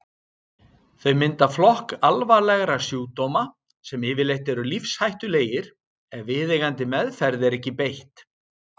Þau mynda flokk alvarlegra sjúkdóma sem yfirleitt eru lífshættulegir ef viðeigandi meðferð er ekki beitt.